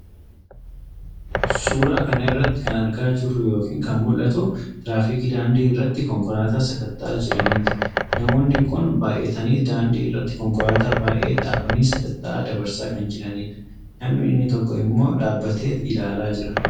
Suura kana irratti kan argaa jirru yookiin kan mul'atu tiraafikii daandii irratti konkolaataa sakatta'aa jiraniiti. Namoonni kun baay'ataniit daandii irratti konkolaataa baay'ee dhaabanii sakatta'aa dabarsaa kan jiraniidha. Namni inni tokko immoo dhaabateet ilaalaa jira.